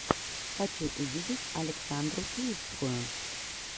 хочу увидеть александру киевскую